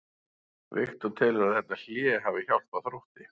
Viktor telur að þetta hlé hafi hjálpað Þrótti.